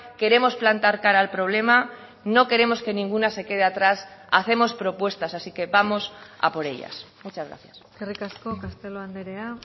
queremos plantar cara al problema no queremos que ninguna se quede atrás hacemos propuestas así que vamos a por ellas muchas gracias eskerrik asko castelo andrea